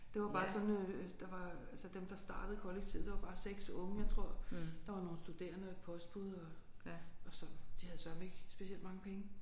Det var bare sådan øh der var altså dem der startede kollektivet det var bare 6 unge jeg tror der var nogle studerende og et postbud og og så de havde søreme ikke specielt mange penge